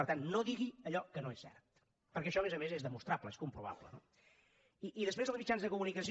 per tant no digui allò que no és cert perquè això a més a més és demostrable és comprovable no i després els mitjans de comunicació